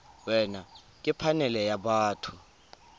wena ke phanele ya batho